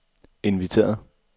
inviteret